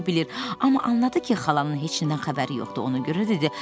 Amma anladı ki, xalanın heç nədən xəbəri yoxdur, ona görə dedi: